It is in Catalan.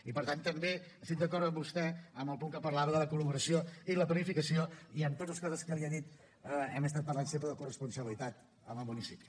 i per tant també estic d’acord amb vostè en el punt que parlava de la col·laboració i la planificació i amb totes les coses que li he dit hem estat parlant sempre de corresponsabilitat amb el municipi